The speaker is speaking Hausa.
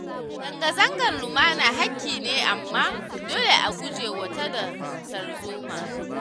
Zanga-zangan lumana haƙƙi ne amma dole a guje wa tada tarzoma.